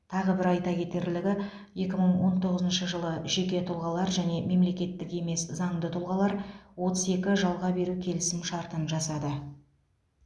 тағы бір айта кетерлігі екі мың он тоғызыншы жылы жеке тұлғалар және мемлекеттік емес заңды тұлғалар отыз екі жалға беру келісімшартын жасады